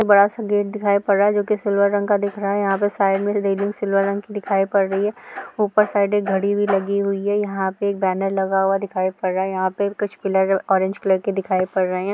यह बहुत सुंदर चित्र है।